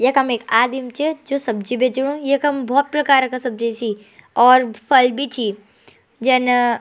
यखम एक आदिम च जू सब्जी बेचणु यखम भोत प्रकार का सब्जी छी और फल भी छी जन --